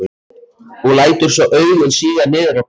Og lætur svo augun síga niður á kragann.